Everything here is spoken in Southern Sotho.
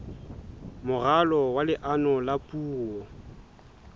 moralo wa leano la puo